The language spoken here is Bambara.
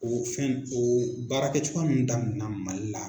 O fɛn in oo baarakɛcogoya m damna Mali la